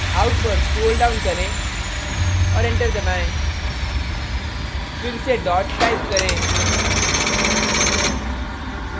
out पर scroll down करें और enter दबाएँ फिर से dot type करें